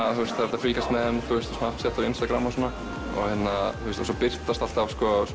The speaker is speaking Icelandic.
að fylgjast með þeim á Instagram svo birtast alltaf